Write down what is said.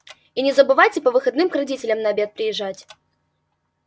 и не забывайте по выходным к родителям на обед приезжать